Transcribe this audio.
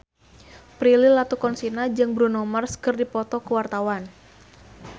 Prilly Latuconsina jeung Bruno Mars keur dipoto ku wartawan